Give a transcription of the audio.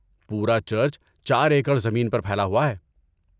پورا چرچ چار ایکڑ زمین پر پھیلا ہوا ہے۔